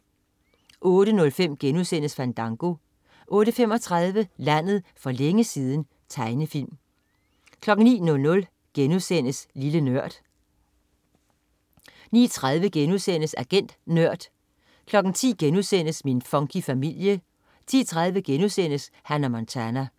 08.05 Fandango* 08.35 Landet for længe siden. Tegnefilm 09.00 Lille Nørd* 09.30 Agent Nørd* 10.00 Min funky familie* 10.30 Hannah Montana*